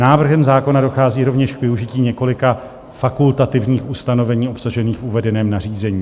Návrhem zákona dochází rovněž k využití několika fakultativních ustanovení obsažených v uvedeném nařízení.